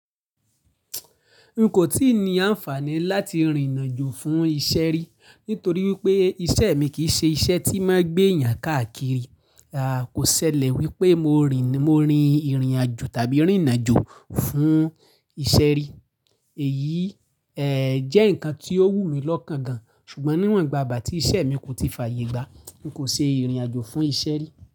N kò tíì ní àǹfààní láti rìn àjò fún iṣẹ́ rí, nítorí wípé iṣẹ́ mi kì í ṣe iṣẹ́ tí máa ń gbé èèyàn káàkiri. Kò ṣẹlẹ̀ wípé mo rìn, mo rin ìrìn àjò tàbí rìn àjò fún iṣẹ́ rí. Èyí, jẹ́ ǹkan tí ó wù mí lọ́kàn gan, ṣùgbọ́n níwọ̀n ìgbàgbà tí iṣẹ́ mi kò tíì fààyè gbá, n kò ṣe ìrìn àjò fún iṣẹ́ rí.